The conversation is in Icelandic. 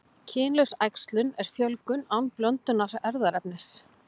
Kynlaus æxlun er fjölgun án blöndunar erfðaefnis.